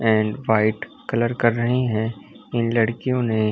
And white colour कर रहे है। इन लड़कियों ने--